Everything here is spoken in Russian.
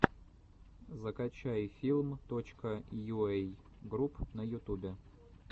закачай филм точка йуэй групп на ютубе